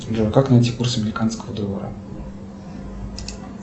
джой как найти курс американского доллара